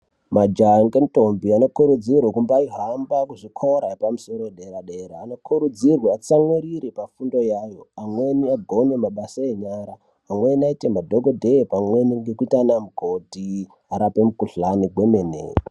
Majaha ngendombi anokurudzirwe kumbaihamba kuzvikora zvepamusoro wedera dera , anokurudzirwa atsamwirire pafundo iyayo amweni agone mabasa enyara amweni aite madhokodheya pamweni ngekuite ana mukoti araoe mikhuhlani kwemene.